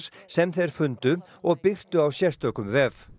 sem þeir fundu og birtu á sérstökum vef